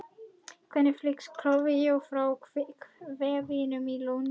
Hvernig flyst koltvíoxíð frá vefjum til lungna?